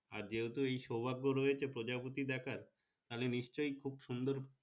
আর যেহেতু সোভাগ রয়েছে প্রজাপতি দেখার তাহলে নিশ্চই খুব সুন্দর।